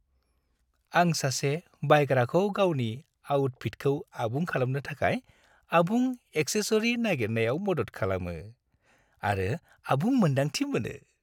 आं सासे बायग्राखौ गावनि आउटफिटखौ आबुं खालामनो थाखाय आबुं एक्सेसरी नागिरनायाव मदद खालामो, आरो आबुं मोन्दांथि मोनो।